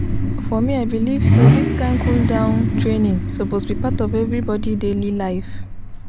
for me i believe say this kind cool-down training suppose be part of everybody daily life.